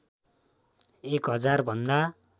एक हजार भन्दा